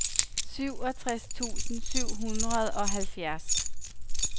syvogtres tusind syv hundrede og halvfjerds